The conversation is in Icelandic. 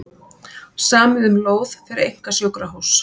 Samið um lóð fyrir einkasjúkrahús